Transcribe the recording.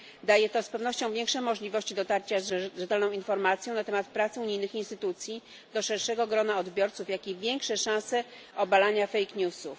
Daje to z pewnością większe możliwości dotarcia z rzetelną informacją na temat prac unijnych instytucji do szerszego grona odbiorców, jak i większe szanse obalania fake newsów.